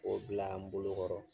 K'o bila n bolokɔrɔ